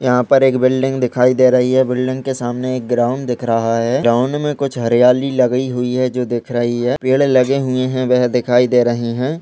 यहाँ पर एक बिल्डिंग दिखाई दे रही है बिल्डिंग के सामने एक ग्राउंड दिख रहा है ग्राउंड में कुछ हरियाली लगी हुई है जो दिख रही है पेड़ लगे हुए है वेह दिखाई दे रहे हैं।